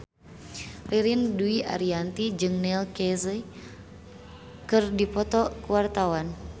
Ririn Dwi Ariyanti jeung Neil Casey keur dipoto ku wartawan